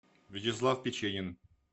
вячеслав печенин